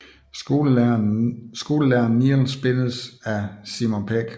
Skolelæreren Neil spilles af Simon Pegg